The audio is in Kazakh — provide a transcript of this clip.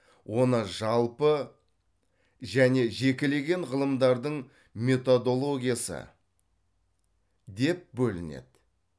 оны жалпы және жекелеген ғылымдардың методологиясы деп бөлінеді